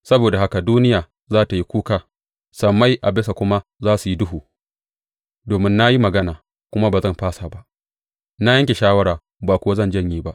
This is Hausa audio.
Saboda haka duniya za tă yi kuka sammai a bisa kuma za su yi duhu, domin na yi magana kuma ba zan fasa ba, na yanke shawara ba kuwa zan janye ba.